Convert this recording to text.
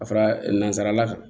Ka fara nanzarala kan